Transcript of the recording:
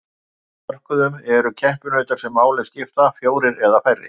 Á flestum mörkuðum eru keppinautar sem máli skipta fjórir eða færri.